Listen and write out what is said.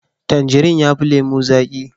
Tangirin yafi lemo zaki